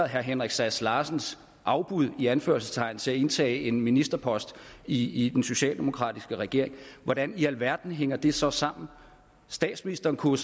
herre henrik sass larsens afbud i anførselstegn til at indtage en ministerpost i i den socialdemokratiske regering hvordan i alverden hænger det så sammen statsministeren kunne